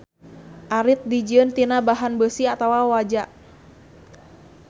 Arit dijieun tina bahan beusi atawa waja.